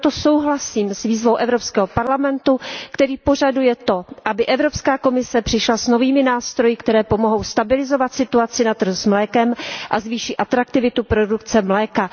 Proto souhlasím s výzvou Evropského parlamentu, který požaduje to, aby Evropská komise přišla s novými nástroji, které pomohou stabilizovat situaci na trhu s mlékem a zvýší atraktivitu produkce mléka.